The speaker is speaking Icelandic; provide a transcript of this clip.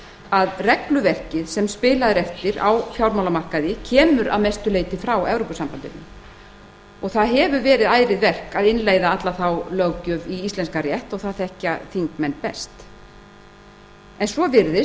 að regluverkið sem spilað er eftir á fjármálamarkaði kemur að mestu leyti frá evrópusambandinu og það hefur verið ærið verk að innleiða alla þá löggjöf í íslenskan rétt og það þekkja þingmenn best en svo virðist